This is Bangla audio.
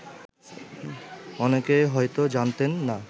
অনেকেই হয়ত জানতেন না